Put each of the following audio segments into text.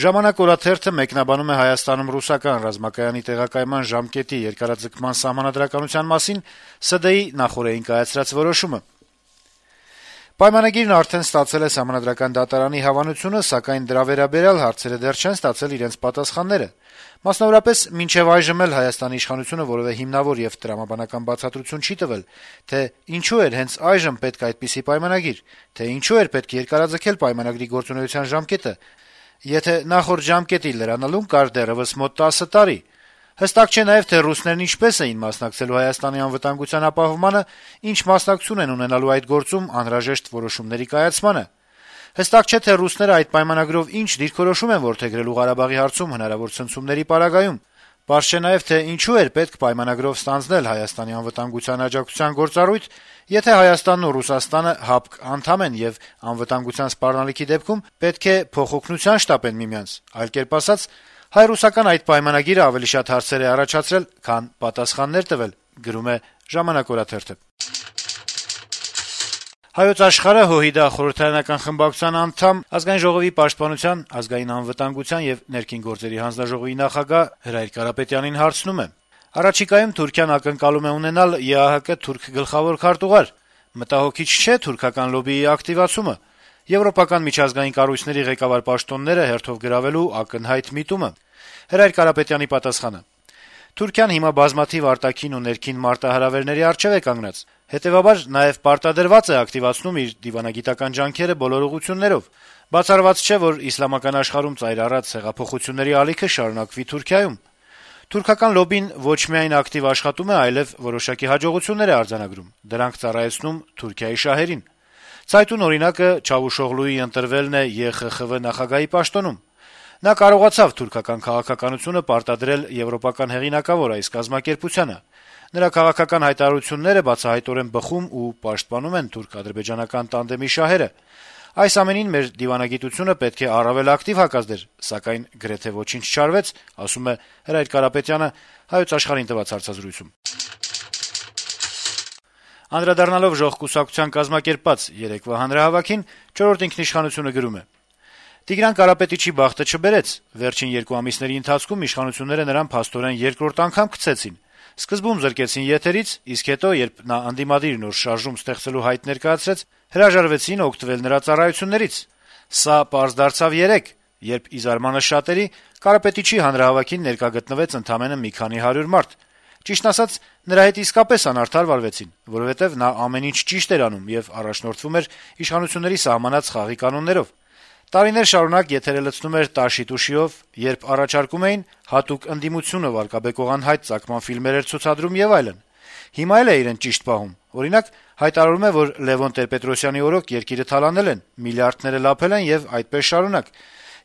«Ժամանակ» օրաթերթը մեկնաբանում է Հայաստանում ռուսական ռազմակայանի տեղակայման ժամկետի երկարաձգման սահմանադրականության մասին Սահմանադրական դատարանի նախօրեին կայացրած որոշումը. - «Պայմանագիրն արդեն ստացել է Սահմանադրական դատարանի հավանությունը, սակայն դրա վերաբերյալ հարցերը դեռ չեն ստացել իրենց պատասխանները: Մասնավորապես, մինչեւ այժմ Հայաստանի իշխանությունը որեւէ հիմնավոր եւ տրամաբանական բացատրություն չի տվել, թե ինչու էր հենց այժմ պետք է այդպիսի պայմանագիր, թե ինչու էր պետք երկարաձգել պայմանագրի գործողության ժամկետը, եթե նախորդ ժամկետի լրանալուն կար դեռեւս մոտ տասը տարի: Հստակ չէ նաեւ, թե ռուսներն ինչպե՞ս են մասնակցելու Հայաստանի անվտանգության ապահովմանը, ի՞նչ մասնակցություն են ունենալու այդ գործում անհրաժեշտ որոշումների կայացմանը: Հստակ չէ, թե արդյոք ռուսները այդ պայմանագրով ի՞նչ դիրքորոշում են որդեգրելու Ղարաբաղի հարցում հնարավոր ցնցումների պարագայում: Պարզ չէ նաեւ, թե ինչո՞ւ էր պետք պայմանագրով ստանձնել Հայաստանի անվտանգության աջակցության գործառույթ, եթե Հայաստանն ու Ռուսաստանը ՀԱՊԿ անդամ են եւ անվտանգության սպառնալիքի դեպքում պետք է փոխօգնության շտապեն միմյանց: Այլ կերպ ասած` հայ - ռուսական այդ պայմանագիրը ավելի շատ հարցեր է առաջացրել, քան պատասխաններ տվել»: «Հայոց աշխարհ»-ը ՀՅԴ խորհրդարանական խմբակցության անդամ, Ազգային ժողովի պաշտպանության, ազգային անվտանգության եւ ներքին գործերի հանձնաժողովի նախագահ Հրայր Կարապետյանին հարցնում է. - «Առաջիկայում Թուրքիան ակնկալում է ունենալ ԵԱՀԿ թուրք գլխավոր քարտուղար: Մտահոգիչ չէ՞ թուրքական լոբբիի ակտիվացումը, եվրոպական միջազգային կառույցների ղեկավար պաշտոնները հերթով գրավելու ակնհայտ միտումը»: Հրայր Կարապետյանը պատասխանում է. - «Թուրքիան հիմա բազմաթիվ արտաքին ու ներքին մարտահրավերների առջեւ է կանգնած, հետեւաբար նաեւ պարտադրված է ակտիվացնում իր դիվանագիտական ջանքերը բոլոր ուղղություններով: Բացառված չէ, որ իսլամական աշխարհում ծայր առած հեղափոխությունների ալիքը շարունակվի Թուրքիայում: Թուրքական լոբբին ոչ միայն ակտիվ աշխատում է, այլեւ որոշակի հաջողություններ է արձանագրում, դրանք ծառայեցնում Թուրքիայի շահերին: Ցայտուն օրինակը Մեւլութ Չավուշօղլուի ընտրվելն է ԵԽԽՎ նախագահի պաշտոնում: Նա կարողացավ թուրքական քաղաքականությունը պարտադրել եվրոպական հեղինակավոր այս կազմակերպությանը: Նրա քաղաքական հայտարարությունները բացահայտորեն բխում ու պաշտպանում են թուրք - ադրբեջանական տանդեմի շահերը: Այս ամենին մեր դիվանագիտությունը պետք է առավել ակտիվ հակազդեր, սակայն գրեթե ոչինչ չարվեց»: Անդրադառնալով փետրվարի 15-ին Ժողովրդական կուսակցության կազմակերպած հանրահավաքին` «Չորրորդ ինքնիշխանություն»-ը գրում է. - «Տիգրան Կարապետիչի բախտը չբերեց: Վերջին երկու ամիսների ընթացքում իշխանությունները փաստորեն նրան երկրորդ անգամ «քցեցին»: Սկզբում զրկեցին եթերից, իսկ հետո երբ «ընդդիմադիր նոր շարժում» ստեղծելու հայտ ներկայացրեց, հրաժարվեցին օգտվել նրա ծառայություններից: Սա պարզ դարձավ երեկ, երբ ի զարմանս շատերի` Կարապետիչի հանրահավաքին ներկա գտնվեց ընդամենը մի քանի հարյուր մարդ: Ճիշտն ասած` նրա հետ իսկապես անարդար վարվեցին, որովհետեւ նա ամեն ինչ «ճիշտ» էր անում եւ առաջնորդվում էր իշխանությունների սահմանած խաղի կանոններով: Տարիներ շարունակ եթերը լցնում էր «տաշի-տուշի»-ով, երբ առաջարկում էին` հատուկ ընդդիմությունը վարկաբեկող անհայտ ծագման ֆիլմեր էր ցուցադրում եւ այլն: Հիմա էլ է իրեն «ճիշտ» պահում, օրինակ` հայտարարում է, որ Լեւոն Տեր-Պետրոսյանի օրոք երկիրը թալանել են, միլիարդները լափել են եւ այդպես շարունակ,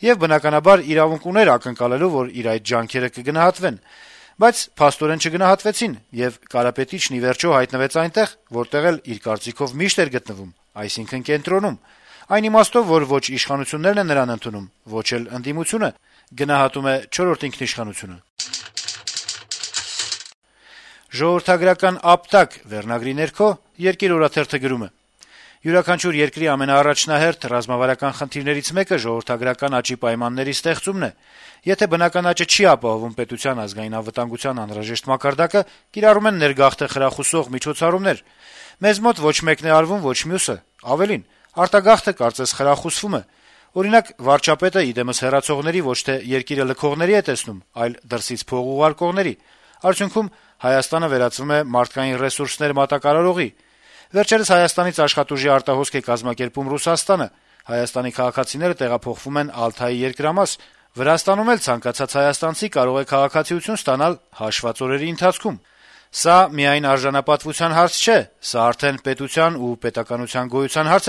եւ բնականաբար, իրավունք ուներ ակնկալելու, որ իր այդ ջանքերը կգնահատվեն: Բայց փաստորեն չգնահատվեցին, եւ Կարապետիչն ի վերջո հայտնվեց այնտեղ, որտեղ, իր կարծիքով, միշտ էր գտնվում, այսինքն` կենտրոնում: Այն իմաստով, որ ոչ իշխանություններն են նրան ընդունում, ոչ ընդդիմությունը»: «Ժողովրդագրական ապտակ» վերնագրի ներքո «Երկիր» օրաթերթը գրում է. - «Յուրաքանչյուր երկրի ամենաառաջնահերթ, ռազմավարական խնդիրներից մեկը ժողովրդագրական աճի պայմանների ստեղծումն է: Եթե բնական աճը չի ապահովում պետության ազգային անվտանգության անհրաժեշտ մակարդակը, կիրառում են ներգաղթը խրախուսող միջոցառումներ: Մեզ մոտ ոչ մեկն է արվում, ոչ մյուսը: Ավելին` արտագաղթը, կարծես, խրախուսվում է: Օրինակ, վարչապետը, ի դեմս հեռացողների, ոչ թե երկիրը լքողների է տեսնում, այլ` դրսից փող ուղարկողների: Այդյունքում Հայաստանը վերածվում է մարդկային ռեսուրսներ «մատակարարողի»: Վերջերս Հայաստանից աշխատուժի արտահոսք է կազմակերպում Ռուսաստանը: Հայաստանի քաղաքացիները տեղափոխվում են Ալթայի երկրամաս: Վրաստանում էլ ցանկացած հայաստանցի կարող է քաղաքացիություն ստանալ հաշվված օրերի ընթացքում: Սա միայն արժանապատվության հարց չէ, սա արդեն պետության եւ պետականության գոյության հարց է